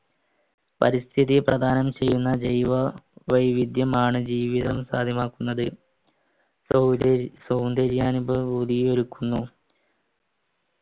പരിസ്ഥിതി പ്രദാനം ചെയ്യുന്ന ജൈവ വൈവിധ്യമാണ് ജീവിതം സാധ്യമാക്കുന്നത് സൗന്ദര്യ അനുഭവഭൂതിയെ ഒരുക്കുന്നു